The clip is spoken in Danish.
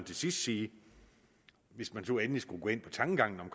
til sidst sige hvis man nu endelig skulle gå ind på tankegangen om